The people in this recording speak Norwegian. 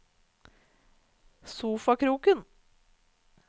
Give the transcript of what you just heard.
sofakroken